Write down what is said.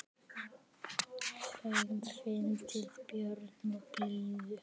Feimin, fyndin, björt og blíð.